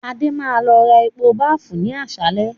Adé máa lọ ra epo baafín ni àsálẹ́